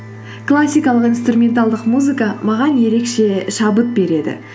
классикалық инструменталдық музыка маған ерекше шабыт береді